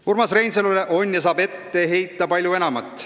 Urmas Reinsalule on ja saab aga ette heita palju enamat.